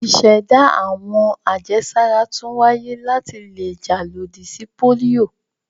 Ìṣẹ̀dá àwọn àjẹsára tún wáyé láti le jà lòdì sí pólíò.